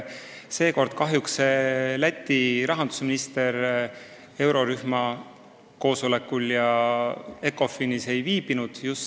Seekord kahjuks Läti rahandusminister eurorühma koosolekul ja Ecofini istungil ei viibinud.